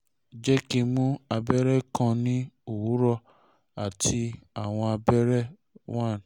jẹ ki o mu abẹrẹ kan ni owurọ ati awọn abẹrẹ one